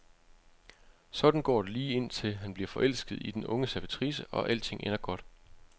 Sådan går det lige indtil han bliver forelsket i den unge servitrice og alting ender godt.